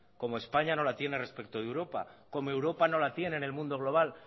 como españa no la tiene respecto de europa como europa no la tiene en el mundo global